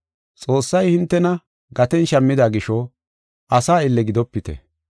Xoossay hintena gaten shammida gisho asa aylle gidopite.